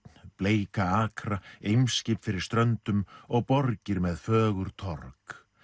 bleika akra Eimskip fyrir ströndum og borgir með fögur torg